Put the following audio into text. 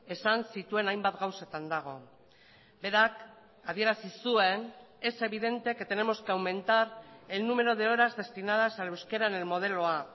esan zituen hainbat gauzetan dago berak adierazi zuen es evidente que tenemos que aumentar el número de horas destinadas al euskera en el modelo a